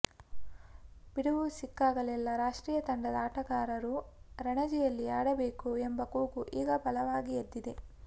ಬಿಡುವು ಸಿಕ್ಕಾಗಲೆಲ್ಲ ರಾಷ್ಟ್ರೀಯ ತಂಡದ ಆಟಗಾರರು ರಣಜಿಯಲ್ಲಿ ಆಡಬೇಕು ಎಂಬ ಕೂಗು ಈಗ ಬಲವಾಗಿ ಎದ್ದಿದೆ